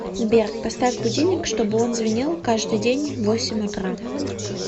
сбер поставь будильник чтобы он звенел каждый день в восемь утра